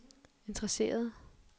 interesserede